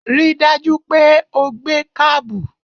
Ri dájú pé o gbé kábù!